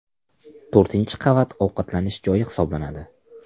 To‘rtinchi qavat ovqatlanish joyi hisoblanadi.